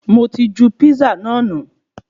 Mo ti ju písà náà nu